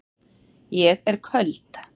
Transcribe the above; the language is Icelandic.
Ég er köld.